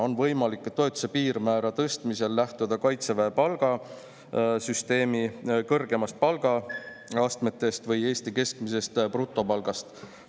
On võimalik toetuse piirmäära tõstmisel lähtuda Kaitseväe palgasüsteemi kõrgemast palgaastmest või Eesti keskmisest brutopalgast.